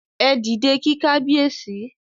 Ẹ dìde kí Kábíyèsí!